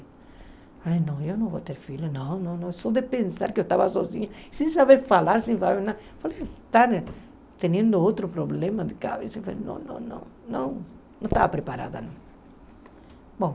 Falei, não, eu não vou ter filhos, não, não, não, só de pensar que eu estava sozinha, sem saber falar, sem saber nada, falei, está tendo outro problema de cabeça, não, não, não, não, não estava preparada, não.